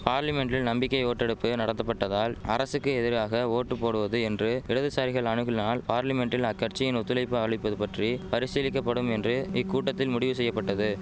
பார்லிமென்ட்டில் நம்பிக்கை ஓட்டெடுப்பு நடத்தப்பட்டதால் அரசுக்கு எதிராக ஓட்டு போடுவது என்று இடதுசாரிகள் அணுகுனால் பார்லிமென்ட்டில் அக்கட்சியின் ஒத்துழைப்பு அளிப்பது பற்றி பரிசீலிக்க படும் என்று இக்கூட்டத்தில் முடிவு செய்ய பட்டது